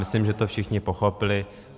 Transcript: Myslím, že to všichni pochopili.